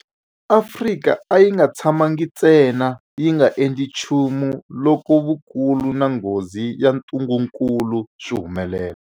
Afrika a yi nga tshamangi ntsena yi nga endli nchumu loko vukulu na nghozi ya ntungukulu swi humelela.